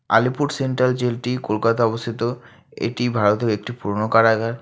Alipur central জেলটি কলকাতায় অবস্থিত এটি ভারতের একটি পুরোনো কারাগার।